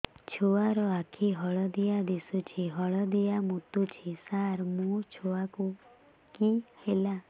ଛୁଆ ର ଆଖି ହଳଦିଆ ଦିଶୁଛି ହଳଦିଆ ମୁତୁଛି ସାର ମୋ ଛୁଆକୁ କି ହେଲା